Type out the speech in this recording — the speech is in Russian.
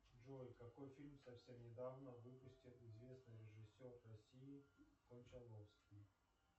джой какой фильм совсем недавно выпустил известный режиссер россии кончаловский